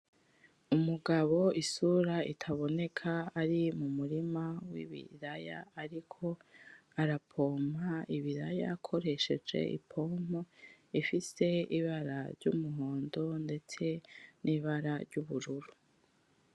Umugabo isura itaboneka ari mu murima w'ibiraya ariko arapompa ibiraya akoresheje ipompo ifise ibara ry'umuhondo ndetse n'ibara ry'ubururu.